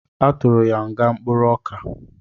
A tụrụ ya nga mkpụrụoka